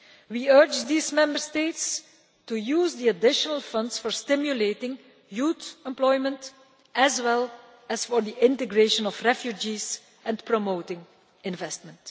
years. We urge these Member States to use the additional funds for stimulating youth employment as well as for the integration of refugees and promoting investment.